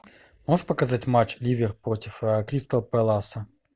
можешь показать матч ливер против кристал пэласа